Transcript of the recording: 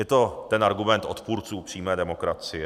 Je to ten argument odpůrců přímé demokracie.